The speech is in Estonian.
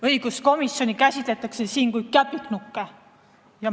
Õiguskomisjoni liikmeid käsitletakse siin kui käpiknukke.